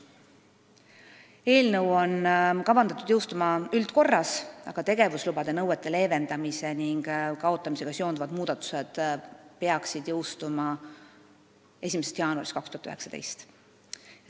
Eelnõu on kavandatud jõustuma üldises korras, aga tegevuslubade nõuete leevendamise ning kaotamisega seonduvad muudatused peaksid jõustuma 1. jaanuaril 2019.